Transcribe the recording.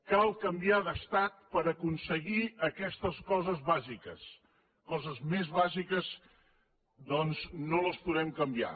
cal canviar d’estat per aconseguir aquestes coses bàsiques coses més bàsiques doncs no les podem canviar